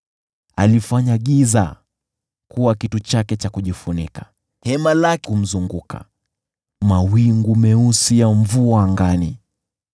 Alifanya giza kuwa kitu chake cha kujifunika, hema lake kumzunguka, mawingu meusi ya mvua ya angani.